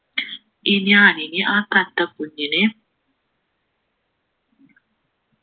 ഇനി ഞാനിനി ആ തത്തക്കുഞ്ഞിനെ